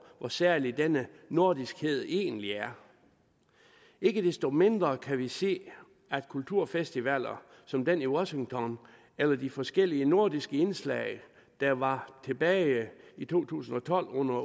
hvor særlig denne nordiskhed egentlig er ikke desto mindre kan vi se at kulturfestivaler som den i washington eller de forskellige nordiske indslag der var tilbage i to tusind og tolv under